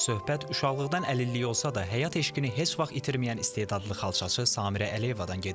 Söhbət uşaqlıqdan əlilliyi olsa da, həyat eşqini heç vaxt itirməyən istedadlı xalçaçı Samirə Əliyevadan gedir.